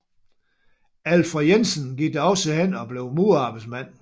Alfred Jensen gik da også hen og blev murerarbejdsmand